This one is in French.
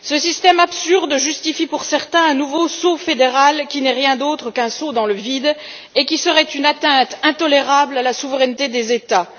Ce système absurde justifie pour certains un nouveau saut fédéral, qui n'est rien d'autre qu'un saut dans le vide et qui serait une atteinte intolérable à la souveraineté des États.